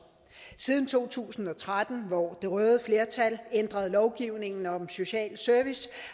siden to tusind og tretten hvor det røde flertal ændrede lovgivningen om social service